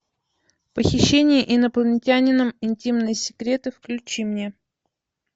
похищение инопланетянином интимные секреты включи мне